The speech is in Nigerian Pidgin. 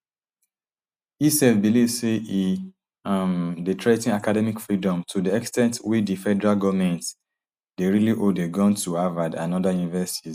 e um believe say e um dey threa ten academic freedom to di ex ten t wey di federal goment dey really hold a gun to harvard and oda universities